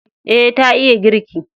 E, ta iya girki.